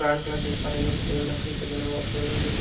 brown colour देख पा रहे हैं जो फ्लोर लकरी से बना हुआ फ्लो --